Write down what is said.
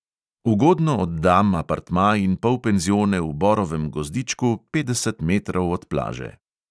Ugodno oddam apartma in polpenzione v borovem gozdičku, petdeset metrov od plaže.